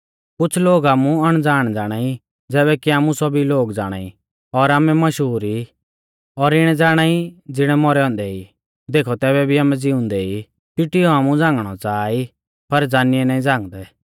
कुछ़ लोग आमु अणज़ाण ज़ाणाई ज़ैबै कि आमु सौभी लोग ज़ाणाई और आमै मशहूर ई और इणै ज़ाणाई ज़िणै मौरै औन्दै ई देखौ तैबै भी आमै ज़िउंदै ई पिटियौ आमु झ़ांगणै च़ाहा ई पर ज़ानिऐ नाईं झ़ांगदै